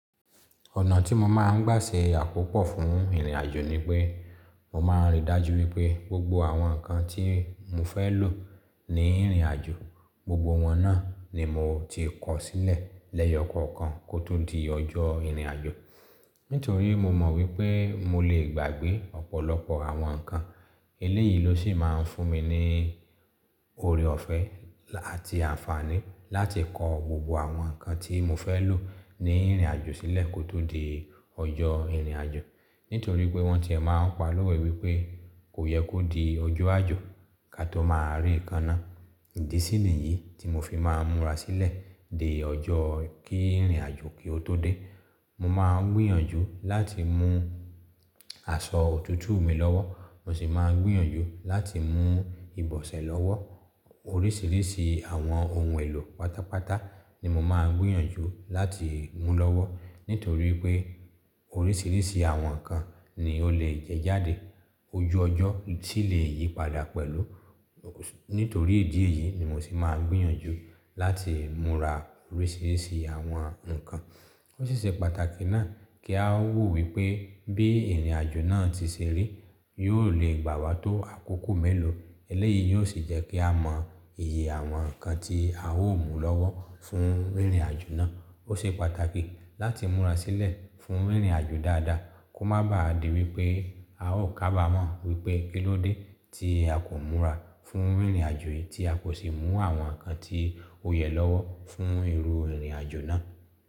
Ọ̀nà tí mo máa ń gbà ṣe àkópọ̀ fún ìrìnàjò ni pé, mo máa ń rí dájú wípé gbogbo àwọn nǹkan tí mo fẹ́ lò ní ìrìnàjò, gbogbo wọn náà ni mo ti kó sílẹ̀ lẹ́yọkọ̀kan kó tó di ọjọ́ ìrìnàjò. Nítorí mo mọ̀ wípé mo lè gbàgbé ọ̀pọ̀lọpọ̀ àwọn nǹkan. Eléyìí ló sì máa ń fún mi ní oore ọ̀fẹ́ àti àǹfààní láti kó gbogbo àwọn nǹkan tí mo fẹ́ lò ní ìrìnàjò sílẹ̀ kó tó di ọjọ́ ìrìnàjò. Nítorí pé wọ́n ti máa ń pa lówe wípé kò yẹ kó di ojo àjò ká tó máa ree ekana. Ìdí sí ní yìí tí mo fi máa ń múra sílẹ̀ dé ọjọ́ kí ìrìnàjò kí ó tó dé. Mo máa ń gbìyànjú láti mú aṣọ òtútù mi lọ́wọ́. Mo sì máa ń gbìyànjú láti mú ìbọ̀sẹ̀ lọ́wọ́. Oríṣiríṣi àwọn ohun èlò pátápátá ni mo máa ń gbìyànjú láti mú lọ́wọ́. Nítorí pé oríṣiríṣi àwọn nǹkan ni ó lè jẹ jáde ojú ọjọ́ tí lè yí padà pẹ̀lú. Nítorí ìdí èyí ni mo sì máa ń gbìyànjú láti múra oríṣiríṣi àwọn nǹkan. Ó ṣiṣẹ́ pàtàkì náà kí a ó wò wípé bí ìrìnàjò náà ti ṣe rí yóò le gbà wá tó àkókò mélòó. Eléyìí yóò sì jẹ́ kí a mọ iye àwọn nǹkan tí a ó mú lọ́wọ́ fún ìrìnàjò náà. Ó ṣe pàtàkì láti múra sílẹ̀ fún ìrìnàjò dáadáa kó má bà á di wípé a ó kábàámọ̀ wípé kíló dé tí a kò múra fún ìrìnàjò yìí tí a kò sì mú àwọn nǹkan tí ó yẹ lọ́wọ́ fún irú ìrìnàjò náà.